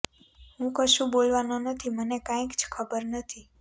હું કશું બોલવાનો નથી મને કાઈ જ ખબર નથી